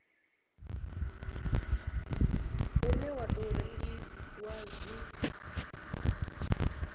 une wa tou rengiwa dzi